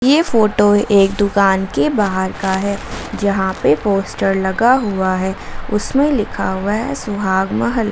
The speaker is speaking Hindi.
ये फोटो एक दुकान के बाहर का है जहां पे पोस्टर लगा हुआ है उसमें लिखा हुआ है सुहाग महल।